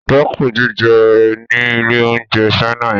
Dẹ́kun jíjẹ ní ilé-oúnjẹ China yẹn.